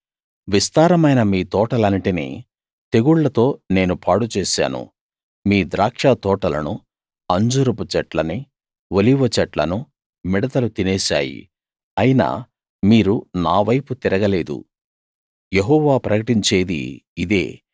విస్తారమైన మీ తోటలన్నిటినీ తెగుళ్ళతో నేను పాడు చేశాను మీ ద్రాక్షతోటలనూ అంజూరపు చెట్లనీ ఒలీవచెట్లనూ మిడతలు తినేశాయి అయినా మీరు నావైపు తిరగలేదు యెహోవా ప్రకటించేది ఇదే